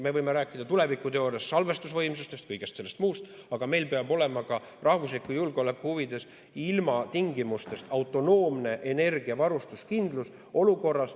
Me võime rääkida tulevikuteooriast, salvestusvõimsustest, kõigest sellest muust, aga meil peab olema rahvusliku julgeoleku huvides ilmatingimustest autonoomne energiavarustuskindlus.